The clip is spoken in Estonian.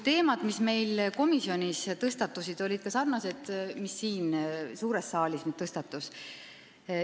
Teemad, mis meil komisjonis tõstatusid, olid sarnased nendega, mis siin suures saalis jutuks tulid.